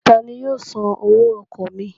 Tani yóò san owó ọkọ̀ mi?